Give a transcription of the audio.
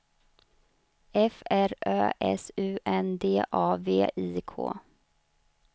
F R Ö S U N D A V I K